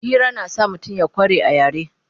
Hira na sa mutum ya kware a yare